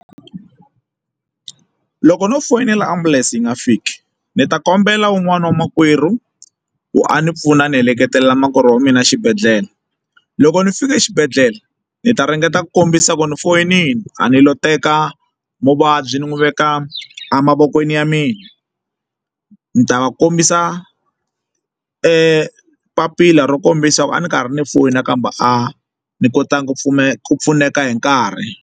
Loko no foyinela ambulense yi nga fiki ni ta kombela un'wana wa makwerhu ku a ni pfuna a ni heleketela makwerhu wa mina exibedhlele loko ndzi fika exibedhlele ndzi ta ringeta ku kombisa ku ni foyinini a ni lo teka muvabyi ni n'wi veka emavokweni ya mina ni ta va kombisa e papila ro kombisa ku a ni karhi ni foni nakambe a ndzi kotangi ku pfuneka ku pfuneka hi nkarhi.